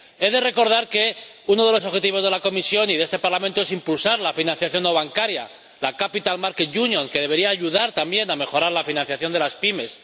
He de recordar que uno de los objetivos de la Comisión y de este Parlamento es impulsar la financiación no bancaria, la Capital Markets Union que debería ayudar también a mejorar la financiación de las pymes.